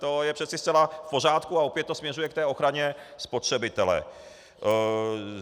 To je přeci zcela v pořádku a opět to směřuje k té ochraně spotřebitele.